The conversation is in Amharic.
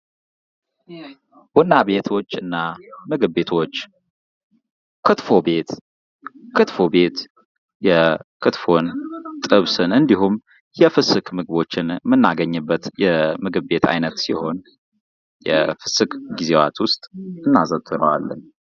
ቡና ቤቶች እና ምግብ ቤቶች ክትፎ ቤት ክትፎ ቤት የክትፎን ጥብስን እንዲሁም የፍስክ ምግቦችን የምናገኝበት የምግብ ቤት አይነት ሲሆን የፍስክ ጊዜያት ዉስጥ እናዘወትረዋለን::